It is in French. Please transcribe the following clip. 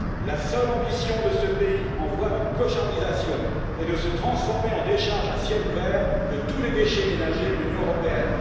La seule ambition de ce pays en voie de clochardisation est de se transformer en décharge à ciel ouvert de tous les déchets ménagers de l'Union européenne.